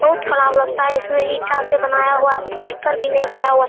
बहुत ख़राब लगता है इसमें ईटा से बनाया हुआ है पलस्तर भी नहीं किया हुआ --